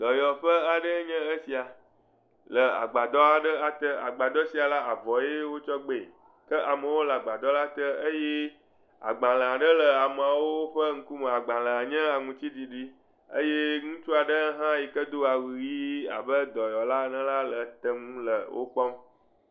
Dɔyɔƒe aɖe enye esia le agbadɔ aɖe ate. Agbadɔ sia la avɔee wotsɔ gbee. Ke amewo le la te eye agbalẽ aɖewo le amewo ƒe ŋkume. Agbalẽa nye aŋutiɖiɖi eye ŋutsua ɖe yi ke do awu yii la le tenu le wokpɔm.